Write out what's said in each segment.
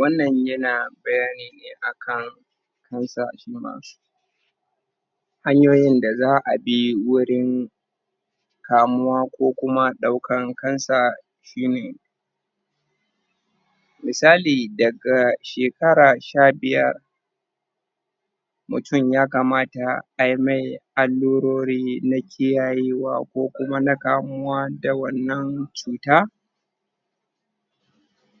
Wannan yana bayani ne akan, Hanyoyin da za'a bi wurin, Kamuwa ko kuma daukan cancer Shine Misali daga shekara shabiyar Mutum ya kamata aimai Allurori na kiyayewa ko kuma na kamuwa da wannan cuta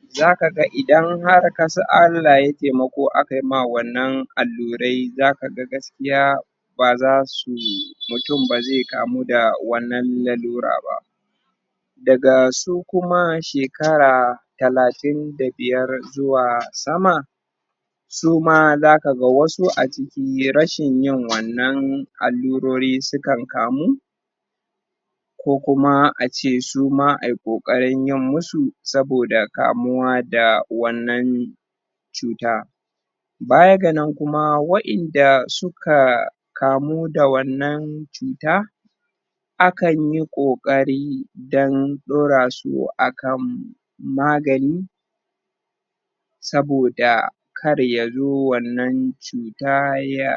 Za zaga idan har kasa, Allah yayi taimako akai ma wannan allurai zaka ga gaskiya Bazasu, mutum bazai kamu da wannan allura bah Daga su kuma shekara Suna za kaga wasu a ciki sunyi rashin yin wannan Allurori sukan kamu Ko kuma ace suma ai ƙokarin yanmasu Saboda kamuwa da wannan Cuta Bayan ga nan kuma wa'inda suka Kamu da wannan cuta! Akan yi kokari Don ɗorasu akan Magani Saboda Karya zo wannan cuta ya,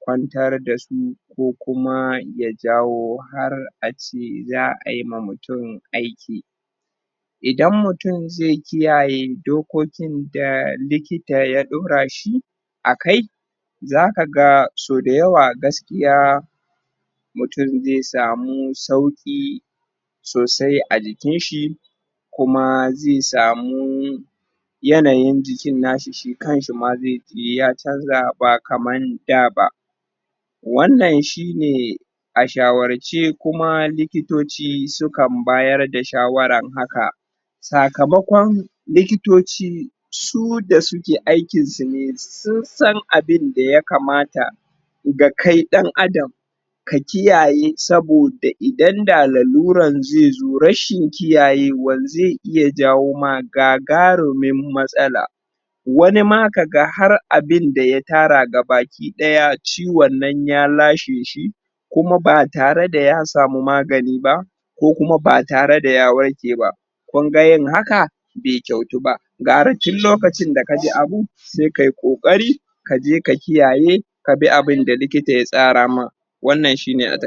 Kwantar dasu Ko kuma yajawo har ace za'aima mutum aiki Idan mutum zai kiyaye dokokin da likita ya ɗorashi, Akai Zakaga sauda yawa gaskiya Mutum zai samu sauki Sosai a jikinshi Kuma zai samu Yanayin jikin nashi shikanshi zaiji Ya chanza ba kaman daba Wannan shine A shawarce kuma likitoci sukan bayar da shawaran haka Sakamakon likitoci Suda suke aikin sune sun, San abinda ya kamata Dakai dan adam Kakiyaye saboda idan da laluran zaizo rashin kiyayewa zai iya jawoma gagarumin matsala Wani ma kaga har abinda ya tara kaba, ki daya ciwon nan ya lasheshi Kuma ba tare da ya samu magani ba Ko kuma ba tare daya warke ba Kunga yin haka Bai kauto ba Gara tun lokacin da kaji abu, Saikai kokari Kaje ka kiyaye Kabi abinda likita ya tsarama Wannan shine a takai